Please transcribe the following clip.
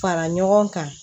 Fara ɲɔgɔn kan